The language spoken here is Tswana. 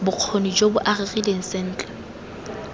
bokgoni jo bo agegileng sentle